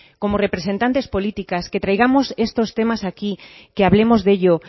como representantes políticas que traigamos estos temas aquí que hablemos de ello